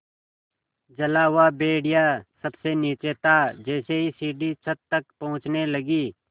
जला हुआ भेड़िया सबसे नीचे था जैसे ही सीढ़ी छत तक पहुँचने लगी